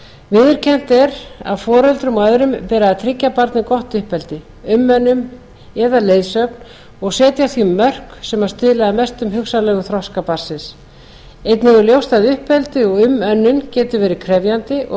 viðurkennt er að foreldrum og öðrum beri að tryggja barni gott uppeldi umönnun eða leiðsögn og setja því mörk sem stuðla að mestum hugsanlegum þroska barnsins einnig er ljóst að uppeldi og umönnun getur verið krefjandi og felur oft